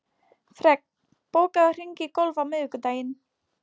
Fregn, bókaðu hring í golf á miðvikudaginn.